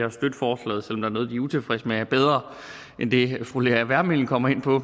at støtte forslaget selv om der er noget de er utilfredse med er bedre end det fru lea wermelin kommer ind på